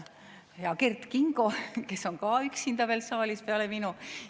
Hea Kert Kingo, kes on ka üksinda veel saalis peale minu!